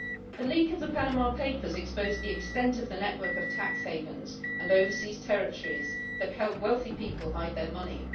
The leak of the Panama papers exposed the extent of the network of tax havens and overseas territories that help wealthy people hide their money.